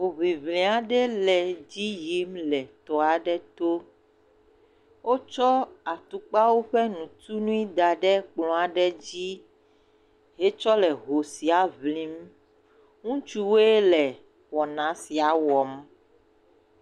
Hoŋliŋli aɖe le edzi yim le tɔ aɖe to. Wotsɔ atupkawo ƒe ŋutunui da ɖe kplɔ aɖe dzi wotsɔ le ho sia ŋlim. Ŋutsuwo ele wɔna sia wɔm.